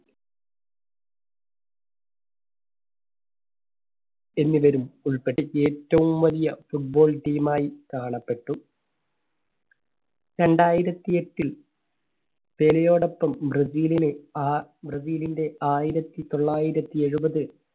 എന്നിവരും ഉൾപ്പെട്ട് ഏറ്റവും വലിയ football team മായി കാണപ്പെട്ടു. രണ്ടായിരത്തി എട്ടിൽ പെലെയോടൊപ്പം ബ്രസീലിലെ ആ ബ്രസീലിന്റെ ആയിരത്തി തൊള്ളായിരത്തി എഴുപത്